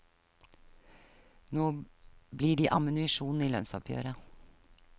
Nå blir de ammunisjon i lønnsoppgjøret.